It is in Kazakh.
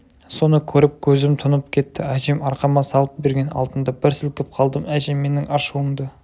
соны көріп көзім тұнып кетті әжем арқама салып берген алтынды бір сілкіп қалдым әжем менің ашуымды